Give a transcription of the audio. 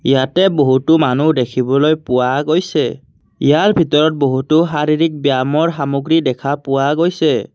ইয়াতে বহুতো মানুহ দেখিবলৈ পোৱা গৈছে ইয়াৰ ভিতৰত বহুতো শাৰীৰিক ব্যায়ামৰ সামগ্ৰী দেখা পোৱা গৈছে।